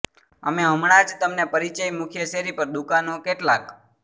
અમે હમણાં જ તમને પરિચય મુખ્ય શેરી પર દુકાનો કેટલાક